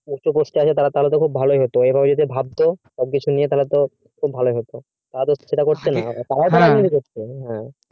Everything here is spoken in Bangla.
তারা তো তাহলে খুব ভালোই হতো এইভাবে যদি ভাবতো সবকিছু নিয়ে তাহলে তো খুব ভালোই হতো তারা তো সেটা করছে না ও